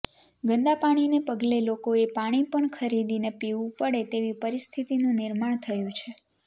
ગંદા પાણીને પગલે લોકોએ પાણી પણ ખરીદીને પીવું પડે તેવી પરિસ્થિતિનું નિર્માણ થયું છે